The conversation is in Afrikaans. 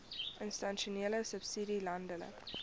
institusionele subsidie landelike